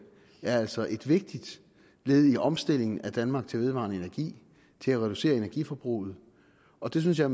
altså er et vigtigt led i omstillingen af danmark til vedvarende energi til at reducere energiforbruget og det synes jeg